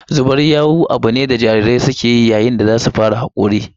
Zubar yawu abu ne da jarirai suke yi yayin da za su fara hakori